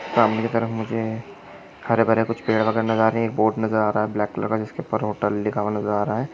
सामने का रंग मुझे हरे भरे कलर कुछ पीला कलर का नजर आ रहा है एक बोर्ड नजर आ रहा है ब्लॅक कलर का जिसके उपर हॉटेल लिखा हुआ नजर आ रहा है।